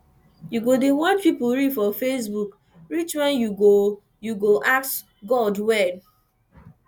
you go dey watch pipu reel for facebook reach wen you go you go ask god when